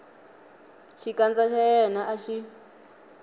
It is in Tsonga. xikandza xa yena a xi